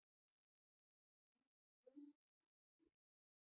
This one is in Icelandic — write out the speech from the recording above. Hann er kominn í hettuúlpu.